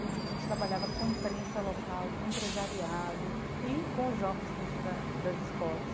Então a gente trabalhava com imprensa local, com empresariado e com os jovens dentro da das escolas.